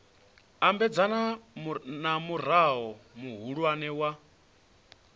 ambedzana na murao muhulwane wa